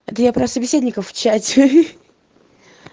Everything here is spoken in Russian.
где я про собеседника в чате